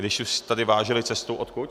Když už tedy vážili cestu - odkud?